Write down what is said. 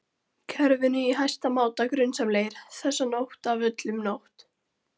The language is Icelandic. kerfinu í hæsta máta grunsamlegir, þessa nótt af öllum nótt